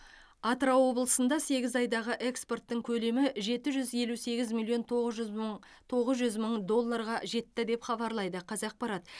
атырау облысында сегіз айдағы экспорттың көлемі жеті жүз елу сегіз миллион тоғыз жүз мың тоғыз жүз мың долларға жетті деп хабарлайды қазақпарат